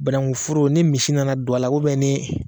Banankuforo ni misi nana don a la ni